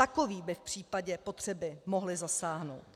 Takoví by v případě potřeby mohli zasáhnout.